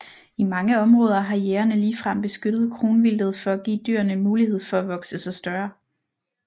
I mange områder har jægerne ligefrem beskyttet kronvildtet for at give dyrene mulighed for at vokse sig større